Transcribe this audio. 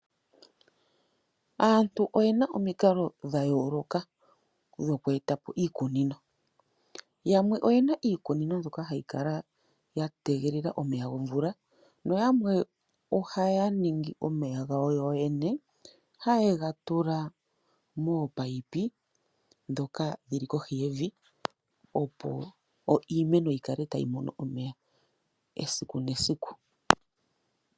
Aantu oyena omikalo dha yooloka dhoku etapo iikunino, yamwe oyena iikunino mbyoka hayi kala ya tegelela omeya gomvula noyamwe ohaya ningi omeya gawo yoyene ha yedhi tula mominino ndhoka dhili kohi yevi opo iimeno yikale tayi mono omeya eaiku nesiku.